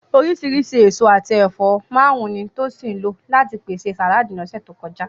Oríṣìíríṣìí èso àti ẹ̀fọ́ márùn-ún ni Tosin lò láti pèsè sàláàdì ní ọ̀sẹ̀ tó kọjá.